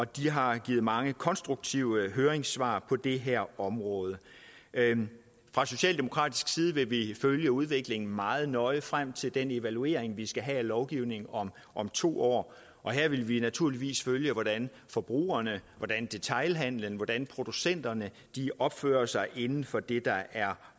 de har givet mange konstruktive høringssvar på det her område fra socialdemokratisk side vil vi følge udviklingen meget nøje frem til den evaluering vi skal have af lovgivningen om to år her vil vi naturligvis følge hvordan forbrugerne hvordan detailhandelen hvordan producenterne opfører sig inden for det der er